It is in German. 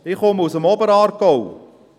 Ich komme aus dem Oberaargau.